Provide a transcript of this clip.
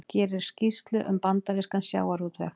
Gerir skýrslu um bandarískan sjávarútveg